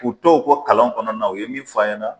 K'u' ko kalanw kɔnɔ na, u ye min f'an yɛna.